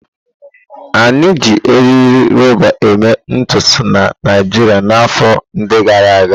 A na-eji eriri rọba eme ntutu na Naijiria na afọ ndi gara aga.